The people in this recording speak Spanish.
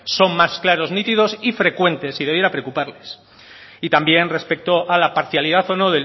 son más claros nítidos y frecuentes y debiera preocuparles y también respecto a la parcialidad o no